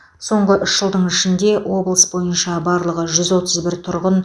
соңғы үш жылдың ішінде облыс бойынша барлығы жүз отыз бір тұрғын